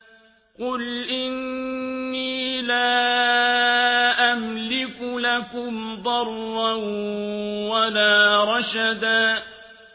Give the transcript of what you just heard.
قُلْ إِنِّي لَا أَمْلِكُ لَكُمْ ضَرًّا وَلَا رَشَدًا